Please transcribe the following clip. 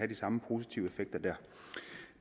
de samme positive effekter dér